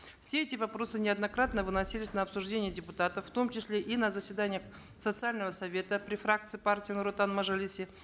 все эти вопросы неоднократно выносились на обсуждение депутатов в том числе и на заседаниях социального совета при фракции партии нур отан в мажилисе